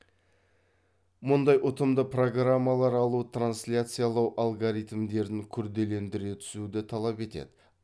мұндай ұтымды программалар алу трансляциялау алгоритмдерін күрделендіре түсуді талап етеді